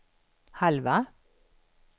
halva